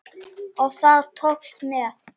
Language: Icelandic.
Það tókst vel.